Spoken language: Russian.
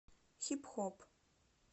хип хоп